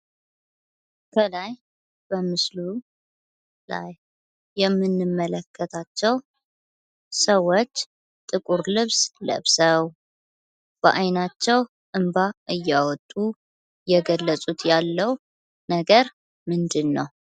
ከላይ በምስሉ ላይ የምንመለከታቸው ሰዎች ጥቁር ልብስ ለብሰው በ አይናቸው እንባ እያወጡ የገለጹት ያሉ ነገር ምንድን ነው?